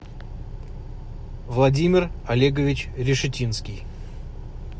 владимир олегович решетинский